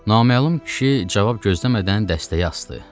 Naməlum kişi cavab gözləmədən dəstəyi asdı.